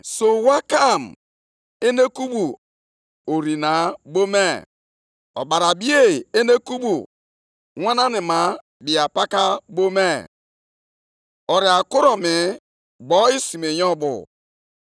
Ịma mma ya na-achapụta dịka ihe anyanwụ ụtụtụ, ihe na-enwupụta site nʼaka ya, ọ bụkwa nʼebe ahụ ka e zoro ike ya.